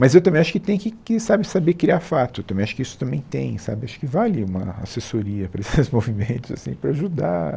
Mas eu também acho que tem que que, sabe, saber criar fato também, acho que isso também tem, sabe, acho que vale uma assessoria para esses movimentos assim para ajudar...